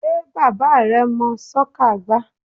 Sé bàbá rẹ mọ́ soccer gbá?